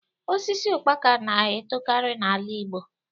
Osisi ukpaka na etokarị n'ala Igbo